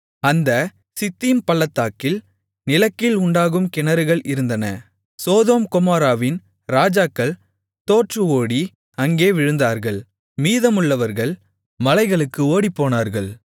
அந்த சித்தீம் பள்ளத்தாக்கில் நிலக்கீல் உண்டாகும் கிணறுகள் இருந்தன சோதோம் கொமோராவின் ராஜாக்கள் தோற்று ஓடி அங்கே விழுந்தார்கள் மீதமுள்ளவர்கள் மலைகளுக்கு ஓடிப்போனார்கள்